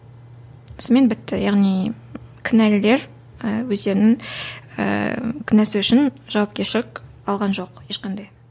сонымен бітті яғни кінәлілер і өздерінің ііі кінәсі үшін жауапкершілік алған жоқ ешқандай